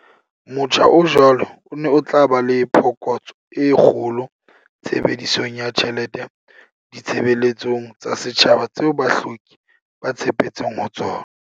Motjha o jwalo o ne o tla ba le phokotso e kgolo tshebedisong ya tjhelete ditshebeletsong tsa setjhaba tseo bahloki ba tshepetseng ho tsona.